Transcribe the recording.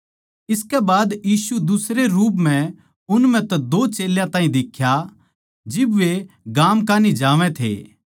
इसकै बाद यीशु दुसरै रूप म्ह उन म्ह तै दो चेल्यां ताहीं दिख्या जिब वे गाम कान्ही जावै थे